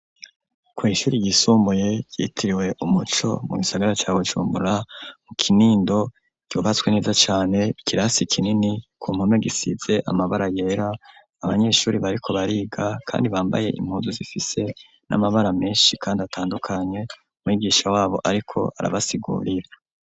kw'ishuri ry'isumuye yitiriwe Umuco mu gisagara ca Bujumbura mu Kinindo ryubatswe neza cane ikirasi kinini ku mpome gisize amabara yera abanyeshuri bariko bariga kandi bambaye impunzu zifise n'amabara meshi kandi atandukanye umwigisha wabo ariko arabasigurira.